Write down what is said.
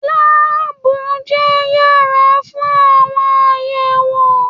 Láàbù jẹ yàrá fún àwọn àyẹwò.